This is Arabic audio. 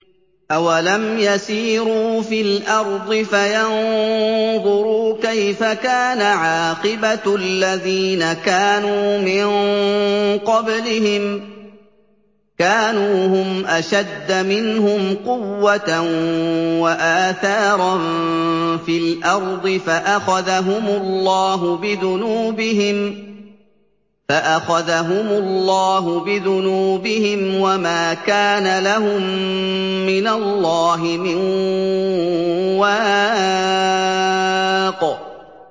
۞ أَوَلَمْ يَسِيرُوا فِي الْأَرْضِ فَيَنظُرُوا كَيْفَ كَانَ عَاقِبَةُ الَّذِينَ كَانُوا مِن قَبْلِهِمْ ۚ كَانُوا هُمْ أَشَدَّ مِنْهُمْ قُوَّةً وَآثَارًا فِي الْأَرْضِ فَأَخَذَهُمُ اللَّهُ بِذُنُوبِهِمْ وَمَا كَانَ لَهُم مِّنَ اللَّهِ مِن وَاقٍ